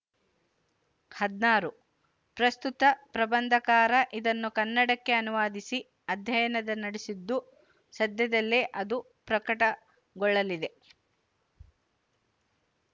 ಹದಿನಾರು ಪ್ರಸ್ತುತ ಪ್ರಬಂಧಕಾರ ಇದನ್ನು ಕನ್ನಡಕ್ಕೆ ಅನುವಾದಿಸಿ ಅಧ್ಯಯನ ನಡೆಸಿದ್ದು ಸದ್ಯದಲ್ಲೇ ಅದು ಪ್ರಕಟಗೊಳ್ಳಲಿದೆ